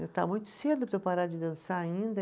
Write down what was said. Está muito cedo para eu parar de dançar ainda.